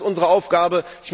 Das ist unsere Aufgabe.